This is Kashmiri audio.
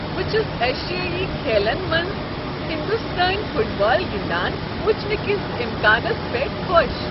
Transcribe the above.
بہٕ چھس ایشیٲیی کھیلن منٛز ہندوستٲنۍ فٹ بال گنٛدان وٕچھنہٕ کس امکانس پٮ۪ٹھ خۄش ۔